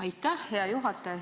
Aitäh, hea juhataja!